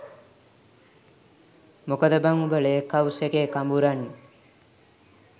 මොකද බං උඹ ලේක් හවුස් එකේ කඹුරන්නෙ?